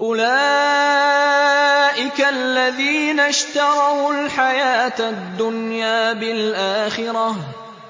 أُولَٰئِكَ الَّذِينَ اشْتَرَوُا الْحَيَاةَ الدُّنْيَا بِالْآخِرَةِ ۖ